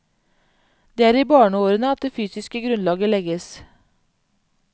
Det er i barneårene at det fysiske grunnlaget legges.